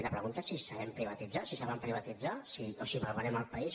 la pregunta és si sabem privatitzar si saben privatitzar o si malvenem el país